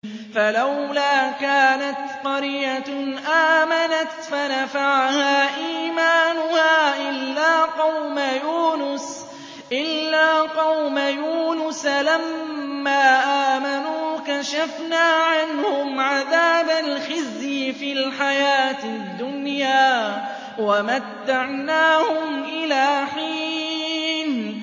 فَلَوْلَا كَانَتْ قَرْيَةٌ آمَنَتْ فَنَفَعَهَا إِيمَانُهَا إِلَّا قَوْمَ يُونُسَ لَمَّا آمَنُوا كَشَفْنَا عَنْهُمْ عَذَابَ الْخِزْيِ فِي الْحَيَاةِ الدُّنْيَا وَمَتَّعْنَاهُمْ إِلَىٰ حِينٍ